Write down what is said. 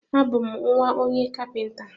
A bú m nwa onye kapinta